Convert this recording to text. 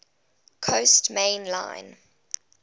coast main line